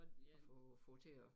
Og få få til at